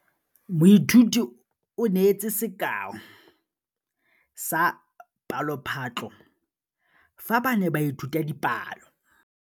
Moithuti o neetse sekaô sa palophatlo fa ba ne ba ithuta dipalo.